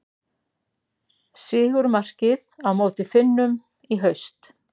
Sigurmarkið á móti Finnum í haust.